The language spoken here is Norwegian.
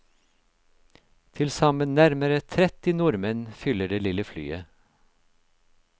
Tilsammen nærmere tretti nordmenn fyller det lille flyet.